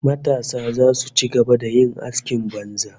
Matasa zasu ci gaba da yin askin banza